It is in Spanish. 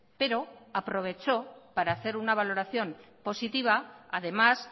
pero aprovechó para hacer una valoración positiva además